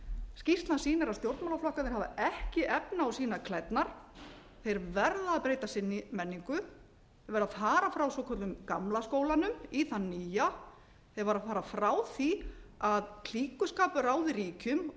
skýrslan sýnir að stjórnmálaflokkarnir hafa ekki efni á að sýna klærnar þeir verða að breyta sinni menningu þeir verða að fara frá svokölluðum gamla skólanum í þann nýja þeir verða að fara frá því að klíkuskapur ráði ríkjum